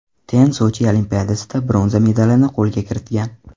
Ten Sochi Olimpiadasida bronza medalini qo‘lga kiritgan.